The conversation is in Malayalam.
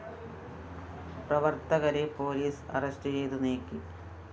പ്രവര്‍ത്തകരെ പോലീസ് അറസ്റ്റുചെയ്ത് നീക്കി